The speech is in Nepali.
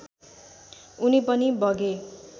उनी पनि बगे